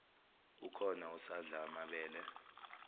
ukhona usadla amabele